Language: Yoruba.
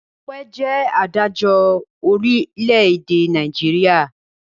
Ọpẹ́ jẹ́ adájọ́ orílẹ̀-èdè Nàìjíríà.